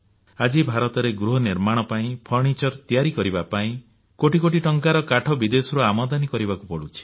ଆଜି ଭାରତରେ ଗୃହ ନିର୍ମାଣ ପାଇଁ କାଠଉପକରଣ ତିଆରି କରିବା ପାଇଁ କୋଟି କୋଟି ଟଙ୍କାର କାଠ ବିଦେଶରୁ ଆମଦାନୀ କରିବାକୁ ପଡୁଛି